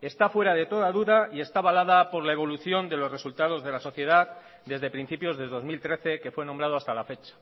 está fuera de toda duda y está avalada por la evolución de los resultados de la sociedad desde principios de dos mil trece que fue nombrado hasta la fecha